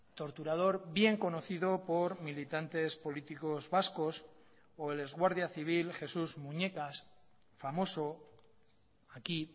torturador bien conocido por militantes políticos vascos o el ex guardia civil jesús muñecas famoso aquí